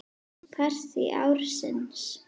Partí ársins?